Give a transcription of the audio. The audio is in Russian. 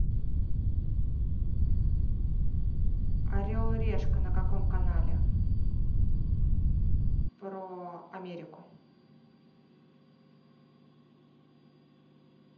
орел и решка на каком канале про америку